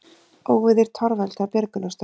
Óveður torveldar björgunarstörf